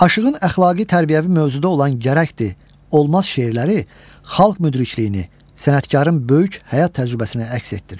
Aşığın əxlaqi tərbiyəvi mövzuda olan gərəkdir, olmaz şeirləri xalq müdrikliyini, sənətkarın böyük həyat təcrübəsini əks etdirir.